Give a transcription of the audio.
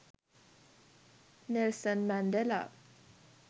nelson mandela